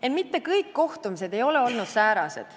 Ent mitte kõik kohtumised ei ole olnud säärased.